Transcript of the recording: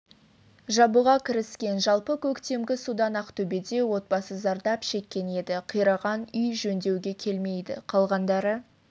жабуға кіріскен жалпы көктемгі судан ақтөбеде отбасы зардап шеккен еді қираған үй жөндеуге келмейді қалғандары